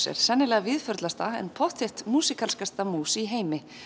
er sennilega en pottþétt mús í heimi